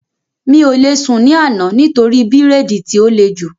Mi ò lè sùn ní àná nítorí bírèèdì tí ó le jù